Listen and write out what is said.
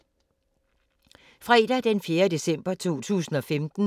Fredag d. 4. december 2015